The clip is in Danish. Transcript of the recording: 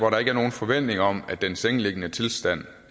er nogen forventning om at den sengeliggende tilstand